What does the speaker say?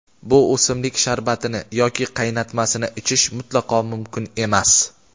bu o‘simlik sharbatini yoki qaynatmasini ichish mutlaqo mumkin emas.